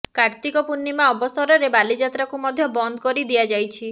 କାର୍ତ୍ତିକ ପୂର୍ଣ୍ଣିମା ଅବସରରେ ବାଲିଯାତ୍ରାକୁ ମଧ୍ୟ ବନ୍ଦ କରି ଦିଆଯାଇଛି